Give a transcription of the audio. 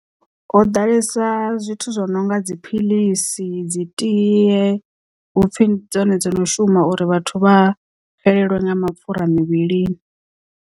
Ho ḓalesa zwithu zwo no nga dziphiḽisi dzi tiye hupfi ndi dzone dzo no shuma uri vhathu vha fhelelwe nga mapfhura muvhilini.